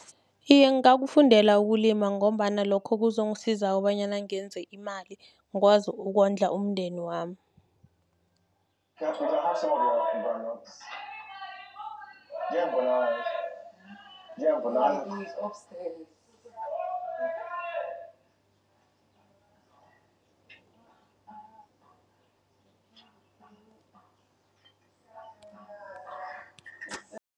Iye, ngakufundela ukulima, ngombana lokho kuzokusiza kobanyana ngenze imali, kwazi ukondla umndeni wami